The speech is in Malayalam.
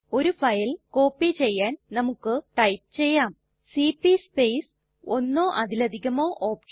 ഒരു ഫയൽ കോപ്പി ചെയ്യാൻ നമുക്ക് ടൈപ്പ് ചെയ്യാം സിപി സ്പേസ് ഒന്നോ അതിലധികമോ OPTION